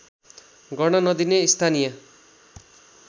गर्न नदिने स्थानीय